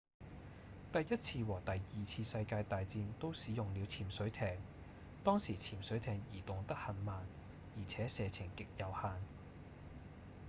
第一次和第二次世界大戰都使用了潛水艇當時潛水艇移動得很慢而且射程極有限